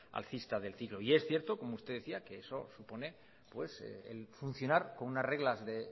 alcista del ciclo y es cierto como usted decía que eso supone el funcionar con unas reglas de